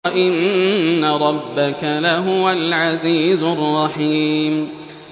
وَإِنَّ رَبَّكَ لَهُوَ الْعَزِيزُ الرَّحِيمُ